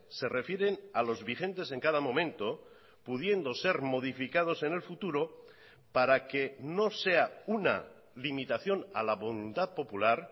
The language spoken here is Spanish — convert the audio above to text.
se refieren a los vigentes en cada momento pudiendo ser modificados en el futuro para que no sea una limitación a la voluntad popular